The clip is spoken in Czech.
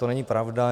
To není pravda.